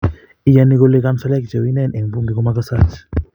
iyoni kole kanselaek cheu inen eng bunge ko mokosooch